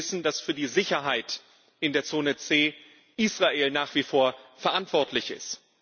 Sie wissen, dass für die Sicherheit in der Zone C nach wie vor Israel verantwortlich ist.